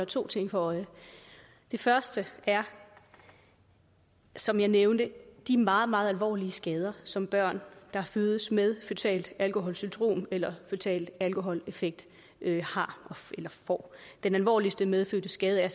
to ting for øje det første er som jeg nævnte de meget meget alvorlige skader som børn der fødes med føtalt alkoholsyndrom eller føtale alkoholeffekter får den alvorligste medfødte skade er